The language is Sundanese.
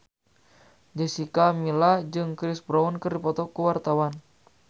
Jessica Milla jeung Chris Brown keur dipoto ku wartawan